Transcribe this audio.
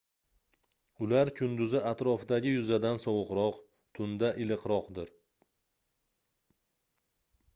ular kunduzi atrofdagi yuzadan sovuqroq tunda iliqroqdir